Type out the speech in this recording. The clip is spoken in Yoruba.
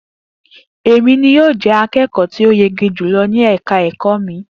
E mi ni yóò jẹ akẹkọ ti o yege julọ ni ẹka ẹkọ mi